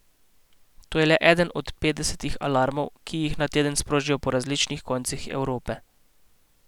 To je le eden od petdesetih alarmov, ki jih na teden sprožijo po različnih koncih Evrope.